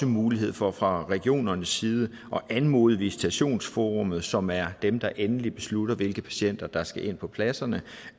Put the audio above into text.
mulighed for fra regionernes side at anmode visitationsforummet som er dem der endelig beslutter hvilke patienter der skal ind på pladserne